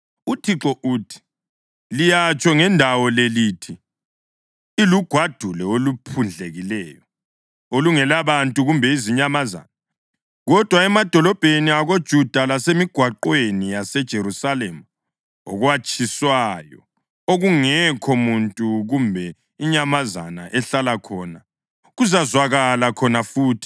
UThixo uthi: ‘Liyatsho ngendawo le lithi, “Ilugwadule oluphundlekileyo, olungelabantu kumbe izinyamazana.” Kodwa emadolobheni akoJuda lasemigwaqweni yaseJerusalema okwatshiywayo, okungekho muntu kumbe inyamazana ehlala khona, kuzazwakala khona futhi